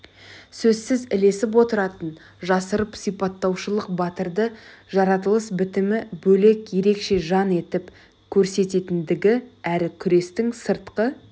сөзсіз ілесіп отыратынын жасырып сипаттаушылық батырды жаратылыс бітімі бөлек ерекше жан етіп көрсететіндігі әрі күрестің сыртқы